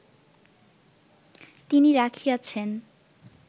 তিনি রাখিয়াছেন